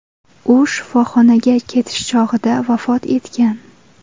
U shifoxonaga ketish chog‘ida vafot etgan.